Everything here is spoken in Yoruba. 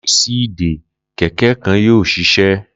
Laisi ìdé kẹ̀kẹ́ kan yoo ṣiṣẹ.